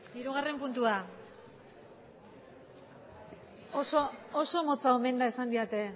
hirugarren puntua oso motza omen dela esan didate